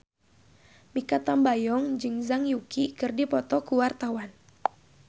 Mikha Tambayong jeung Zhang Yuqi keur dipoto ku wartawan